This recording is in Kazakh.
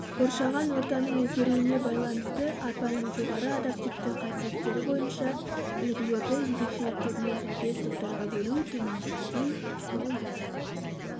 қоршаған ортаның өзгеруіне байланысты арпаның жоғары адаптивті қасиеттері бойынша үлгілерді ерекшеліктеріне сәйкес топтарға бөлу төмендегідей болды